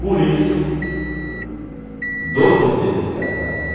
Por isso, doze vezes casado, hein?